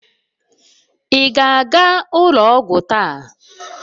Ị ga-aga ụlọ ọgwụ taa?